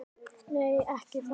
Nei, ekki það!